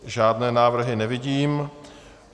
Žádné návrhy nevidím.